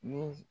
Ni